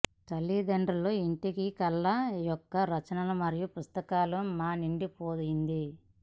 తల్లిదండ్రుల ఇంటికి కళ యొక్క రచనలు మరియు పుస్తకాల మా నిండిపోయింది